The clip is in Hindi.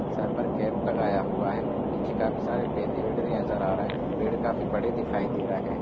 सर पर कैप लगाया हुआ है पीछे का भी सारे पेड़- वेद नजर आ रहा है पेड काफी बड़े दिखाई दे रहे है--